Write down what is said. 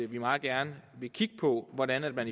vi meget gerne vil kigge på hvordan man